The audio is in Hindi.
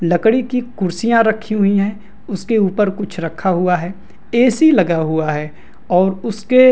लकड़ी की कुर्सियाँ रखी हुए है उसके ऊपर कुछ रखा हुआ है ए.सी. लगा हुआ है और उसके --